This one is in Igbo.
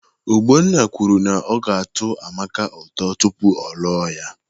Ogbonna kwuru na ọ ga-atọ Amaka ụtọ tupu ọ lụọ ya